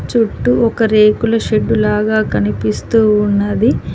చుట్టూ ఒక రేకుల షెడ్డు లాగా కనిపిస్తూ ఉన్నది.